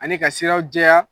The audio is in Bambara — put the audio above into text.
Ani ka siraw jɛya